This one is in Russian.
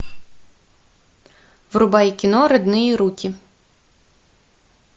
врубай кино родные руки